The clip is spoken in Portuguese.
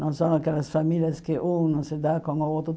Não são aquelas famílias que um não se dá com o outro.